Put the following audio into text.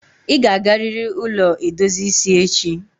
I ga agariri ụlọ edozi isi echi!